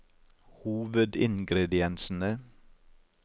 hovedingrediensene